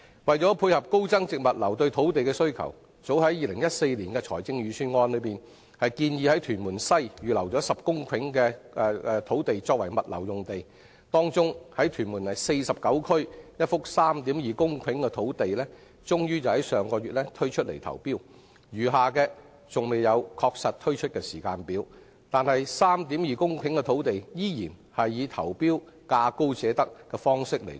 為配合高增值物流業對土地的需求，政府早於2014年的財政預算案中，便建議在屯門西預留10公頃土地作為物流用地，當中屯門第49區一幅 3.2 公頃的土地終於在上月招標，餘下的尚未確定推出的時間表；而該幅 3.2 公頃土地，依然是以價高者得的方式投標。